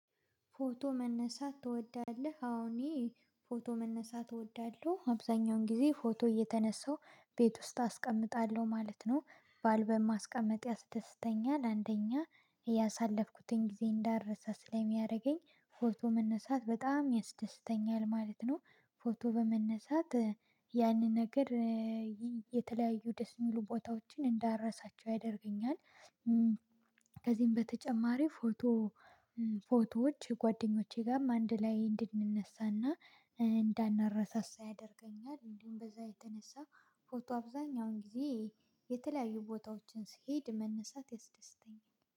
ፎቶ መነሳት ትወዳለህ አወ እኔ ፎቶ መነሳት እወዳለሁ አብዛኛውን ጊዜ ፎቶ እየተነሳሁ ቤት ውስጥ አስቀምጣለሁ ማለት ነው ባል በማስቀመጥ ያስተስተኛል አንደኛ እያሳለፍኩትን ጊዜ እንዳልረሳ ስለሚያደርገኝ ፎቶ መነሳት በጣም ያስደስተኛል ማለት ነው። ፎቶ በመነሳት ያንን ነገር የተለያዩ ደስ የሚሉ ቦታዎችን እንዳረሳቸው ያደርገኛል። ከዚህም በተጨማሪ ፎቶ ፎቶዎች ጓደኞቼ ጋርም አንድ ላይ እንድንነሳና እንዳናረሳሳ ያደርገኛል። እንዲሁም በዛ የተነሳ ፎቶ አብዛኛውን ጊዜ የተለያዩ ቦታዎችን ስሄድ መነሳት ያስደስተኛል